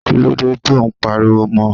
Kí ló dé tó ń pariwo mọ?